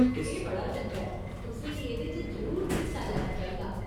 एह् बड़ा चंगा ऐ, तुसें गी एह्दे च जरूर हिस्सा लैना चाहिदा।